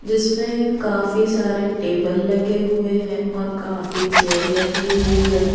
जिसमें काफी सारे टेबल लगे हुए हैं और काफी चेयर लगी हुई है।